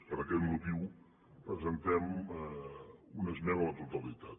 per aquest motiu presentem una esmena a la totalitat